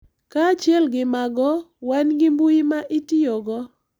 Kaachiel gi mago, wan gi mbui ma itiyogo.